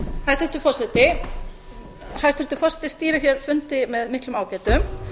hæstvirtur forseti hæstvirtur forseti stýrir hér fundi með miklum ágætum